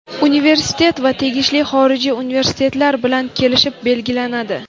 Universitet va tegishli xorijiy universitetlar bilan kelishib belgilanadi.